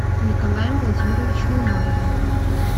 николаем владимировичем умаровым